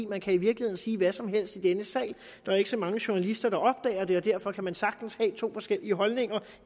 man kan i virkeligheden sige hvad som helst i denne sal der er ikke så mange journalister der opdager det og derfor kan man sagtens have to forskellige holdninger